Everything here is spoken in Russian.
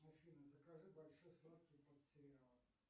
афина закажи большой сладкий под сериал